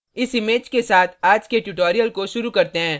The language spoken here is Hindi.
इस image के साथ आज के tutorial को शुरू करते हैं